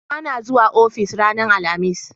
ba na zuwa ofis ranar alhamis